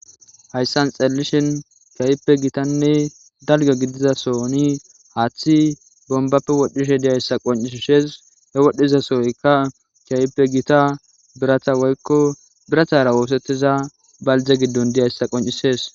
Hayssan xalelishin kaype gitanne dalga gidizasoni haaththi bombappe wodhishe diyayssa qoncisishees e wodhdhizasooyka kiaype gita birata oykko biratara woosettiza baldze giddon diyayssa qoncisees